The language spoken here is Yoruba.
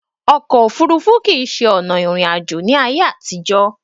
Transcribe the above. Ọkò òfurufú kìí ṣe ọ̀nà ìrìn àjò ní ayé àtìjọ̀.